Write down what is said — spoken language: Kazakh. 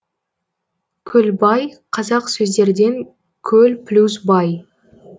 көлбаи қазақ сөздерден көл плюс бай